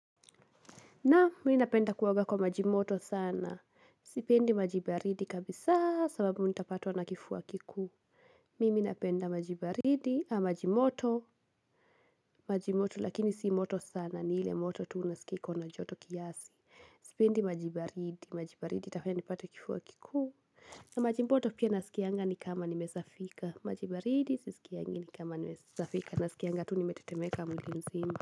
Naam mim napenda kuoaga kwa majimoto sana. Sipendi maji baridi kabisa sababu nitapatwa na kifua kikuu. Mimi napenda maji baridi ama majimoto. Majimoto lakini sii moto sana ni ile moto tu unaskia iko na joto kiasi. Sipendi maji baridi. Maji baridi itafanya nipate kifua kikuu. Na maji moto pia naskianga ni kama nimesafika. Majibaridi sisikiangi ni kama nimesafika. Nasikianga tu nimetetemeka mwili mzima.